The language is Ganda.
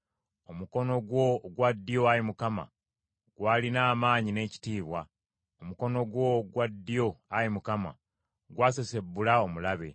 “Omukono gwo ogwa ddyo, Ayi Mukama , gwalina amaanyi n’ekitiibwa; omukono gwo ogwa ddyo, Ayi Mukama , gwasesebbula omulabe.